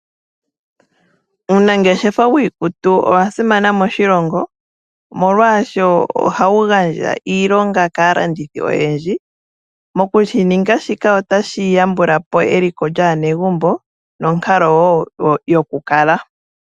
Uunangeshefa wiikutu owa simana moshilongo. Molwashoka ohawu gandja iilonga kaalandithi oyendji. Mokushininga shika otashi yambulapo eliko lyaanegumbo nonkalo wo yokukala.